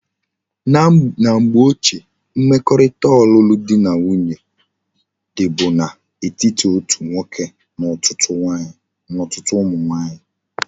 Na mgbe ochie, mmekorita olulu di na nwunye di bu na etiti otu nwoke na otutu umu nwanyi